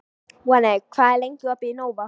Voney, hvað er lengi opið í Nova?